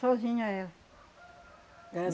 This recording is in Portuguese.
Sozinha, ela.